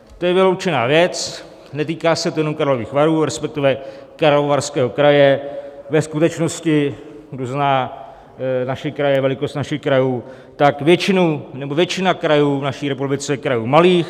To je vyloučená věc, netýká se to jenom Karlových Varů, respektive Karlovarského kraje - ve skutečnosti kdo zná naše kraje, velikost našich krajů, tak většina krajů v naší republice je krajů malých.